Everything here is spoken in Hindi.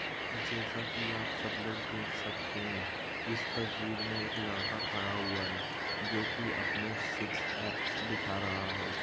जैसा कि आप सब लोग देख सकते है इस तस्वीर मी एक लडका खडा हूआ है जोकी अपने सिक्स एब्स दिखा रहा है।